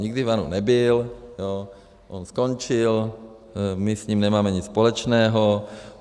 Nikdy v ANO nebyl, on skončil, my s ním nemáme nic společného.